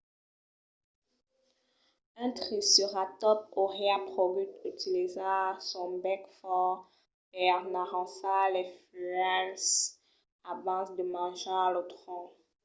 un triceratòps auriá pogut utilizar son bèc fòrt per n'arrancar las fuèlhas abans de manjar lo tronc